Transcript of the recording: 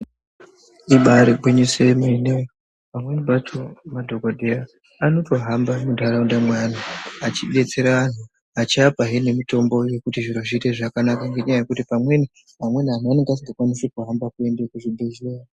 Ibaari gwinyiso yemene pamweni pacho madhokodheya anotohamba muntharaunda mweanthu achidetsera achiapahe nemitombo yekuti zviro zviite zvakanaka ngenyaya yekuti pamweni vamweni vanthu vanenge vasingakwanisi kuhamba kuende kuzvibhedhleya.